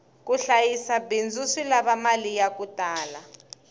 ku hlayisa bindzu swi lava mali yaku tala